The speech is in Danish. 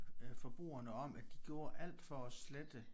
Øh forbrugerne om at de gjorde alt for slette